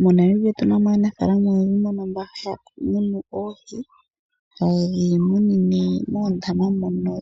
MoNamibia otu na mo aanafaalama oyendji mbono haya munu oohi, haye dhi munine moondama mono